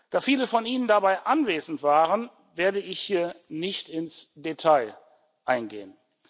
Da viele von Ihnen dabei anwesend waren, werde ich hier nicht ins Detail gehen.